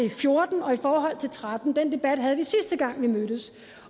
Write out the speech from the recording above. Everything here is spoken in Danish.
og fjorten og i forhold til og tretten den debat havde vi sidste gang vi mødtes